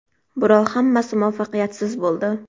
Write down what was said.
Biroq hammasi muvaffaqiyatsiz bo‘ldi.